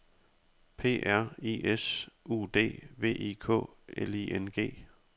P R I S U D V I K L I N G